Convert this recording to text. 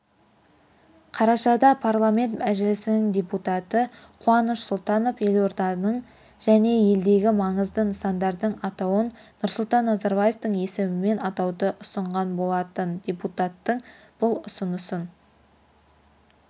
қарашада парламент мәжілісінің депутаты қуаныш сұлтанов елорданың және елдегі маңызды нысандардың атауын нұрсұлтан назарбаевтың есімімен атауды ұсынған болатын депутаттың бұл ұсынысын